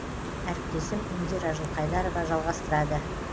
әріптесім индира жылқайдарова жалғастырады